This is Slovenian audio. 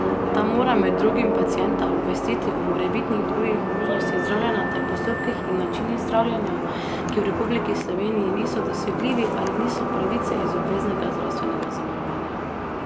Ta mora med drugim pacienta obvestiti o morebitnih drugih možnostih zdravljenja ter postopkih in načinih zdravljenja, ki v Republiki Sloveniji niso dosegljivi ali niso pravice iz obveznega zdravstvenega zavarovanja.